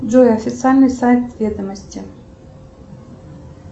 джой официальный сайт ведомости